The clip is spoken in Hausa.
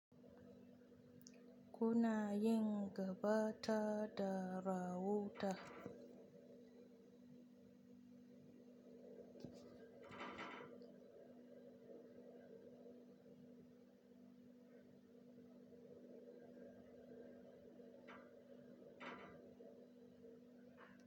Kuna yin gaba ta da ra wuta.